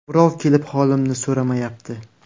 Birov kelib holimni so‘ramayapti.